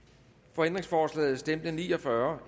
for ændringsforslaget stemte ni og fyrre